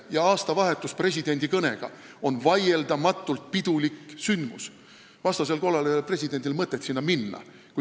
Ka aastavahetus koos presidendi kõnega on vaieldamatult pidulik sündmus – vastasel korral ei oleks presidendil mõtet sinna minna.